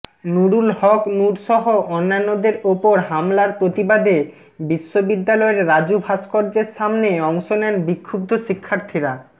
নুরুল হক নুরসহ অন্যান্যদের ওপর হামলার প্রতিবাদে বিশ্ববিদ্যালয়ের রাজু ভাস্কর্যের সামনে অংশ নেন বিক্ষুব্ধ শিক্ষার্থীরা